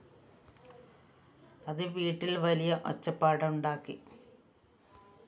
അത് വീട്ടിൽ വലിയ ഒച്ചപ്പാടുണ്ടാക്കി